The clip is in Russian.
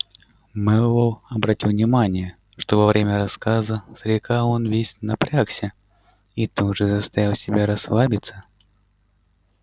мэллоу обратил внимание что во время рассказа старика он весь напрягся и тут же заставил себя расслабиться